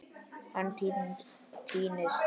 Hann týnist.